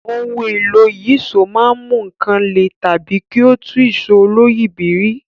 Ohun èlò ìyíṣòó máa ń mú nǹkan lè tàbí kí ó tú ìṣó oloyìibírí